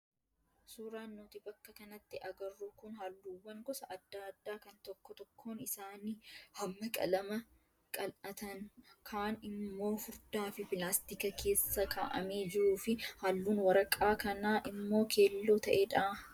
Suuraan nuti bakka kanatti arginu kun halluuwwan gosa adda addaa kan tokko tokkoon isaanii hamma qalamaa qal'atan kaan immoo furdaa fi pilastika keessa kaa'amee jiruu fi halluun waraqaa kanaa immoo keelloo ta'edha.